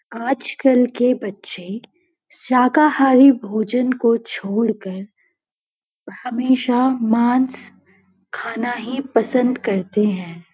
आजकल के बच्चे शाकाहारी भोजन को छोड़कर हमेशा मांस खाना ही पसंद करते हैं।